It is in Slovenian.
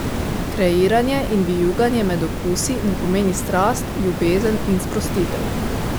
Kreiranje in vijuganje med okusi mu pomeni strast, ljubezen in sprostitev.